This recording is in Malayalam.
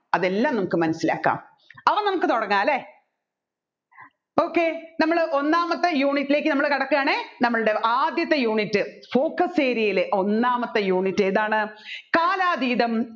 അതെല്ലാം നമ്മുക്ക് മനസ്സിലാകാം അപ്പോ നമ്മുക്ക് തുടങ്ങാംലെ okay നമ്മൾ ഒന്നാമത്തെ unit ലേക്ക് നമ്മൾ കടക്കുയാണെ നമ്മൾടെ ആദ്യത്തെ unit focus area ലെ ഒന്നാമത്തെ unit ഏതാണ് കാലാതീതം